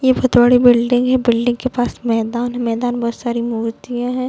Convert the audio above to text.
ये बहोत बड़ी बिल्डिंग है बिल्डिंग के पास मैदान है मैदान बहोत सारी मूर्तियां है।